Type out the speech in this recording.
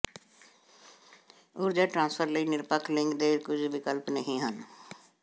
ਊਰਜਾ ਟ੍ਰਾਂਸਫਰ ਲਈ ਨਿਰਪੱਖ ਲਿੰਗ ਦੇ ਕੁਝ ਵਿਕਲਪ ਨਹੀਂ ਹਨ